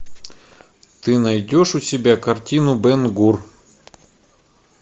ты найдешь у себя картину бен гур